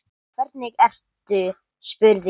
Hvernig ertu spurði ég.